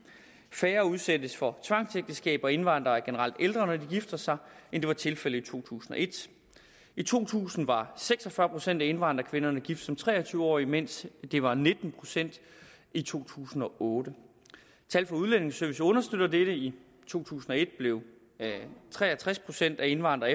færre udsættes for tvangsægteskaber og indvandrere er generelt ældre når de gifter sig end det var tilfældet i to tusind og et i to tusind var seks og fyrre procent af indvandrerkvinderne gift som tre og tyve årige mens det var nitten procent i to tusind og otte tal fra udlændingeservice understøtter dette i to tusind og et blev tre og tres procent af indvandrere